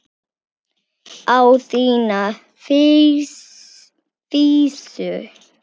Á þína vísu.